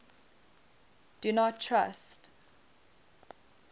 do not trust